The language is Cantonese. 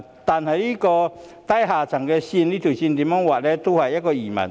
但是，如何劃低下階層這條線也是疑問。